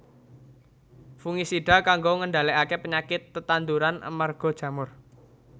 Fungisida kanggo ngendhalèkaké penyakit tetanduran amarga jamur